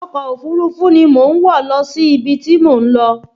Ọkọ̀ òfúrufú ni mo ń wọ̀ lọ sí ibi tí mò ń lọ